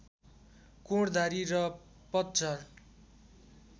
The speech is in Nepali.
कोणधारी र पतझर